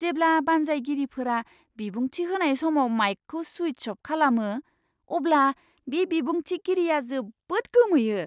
जेब्ला बानजायगिरिफोरा बिबुंथि होनाय समाव माइकखौ सुइच अफ खालामो, अब्ला बे बिबुंथिगिरिया जोबोद गोमोयो!